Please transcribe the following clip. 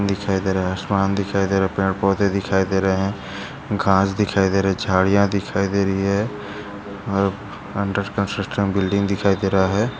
दिखाई दे रहा है आसमान दिखाई दे रहा है पेड़ पौंधे दिखाई दे रहै है। घास दिखाई दे रहा है झाड़िया दिखाई दे रहा है ओर अंडर कन्स्ट्रकशन बिल्डिंग दिखाई दे रहा है।